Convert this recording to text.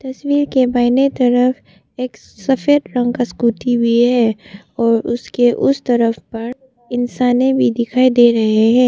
तस्वीर के बाहिनें तरफ एक सफेद रंग का स्कूटी भी है और उसके उस तरफ पर इंसाने भी दिखाई दे रहे हैं।